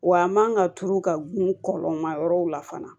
Wa a man ka turu ka gun kɔlɔn ma yɔrɔw la fana